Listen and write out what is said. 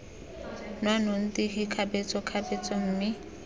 nwa nnotagi kgabetsa kgabetsa mme